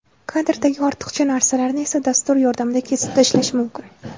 Kadrdagi ortiqcha narsalarni esa dastur yordamida kesib tashlash mumkin.